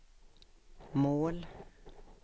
mål